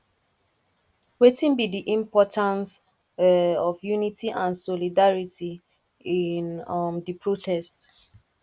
wetin be di importance um of unity and solidarity in um di protest